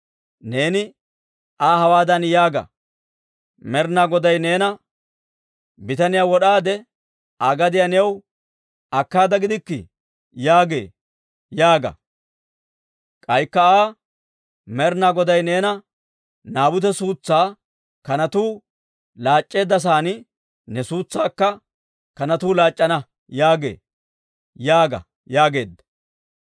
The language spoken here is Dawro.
Neeni Aa hawaadan yaaga; ‹Med'inaa Goday neena, «Bitaniyaa wod'aade, Aa gadiyaa new akkaada gidikkii?» yaagee› yaaga. K'aykka Aa, ‹Med'inaa Goday neena, «Naabute suutsaa kanatuu laac'c'eedda sa'aan ne suutsaakka kanatuu laac'c'ana» yaagee› yaaga» yaageedda.